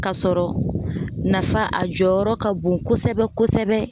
Kasɔrɔ nafa a jɔyɔrɔ ka bon kosɛbɛ-kosɛbɛ